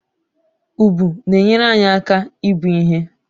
Ùbù na-enyere anyị aka ibu ihe